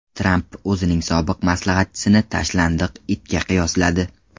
Tramp o‘zining sobiq maslahatchisini tashlandiq itga qiyosladi.